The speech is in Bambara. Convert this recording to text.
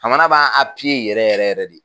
Jamana b'a yɛrɛ yɛrɛ yɛrɛ de